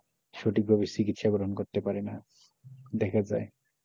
সঠিক ভাবে চিকিৎসা পূরণ করতে পারেনা দেখা যায়,